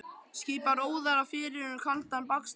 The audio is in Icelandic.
Skipar óðara fyrir um kaldan bakstur.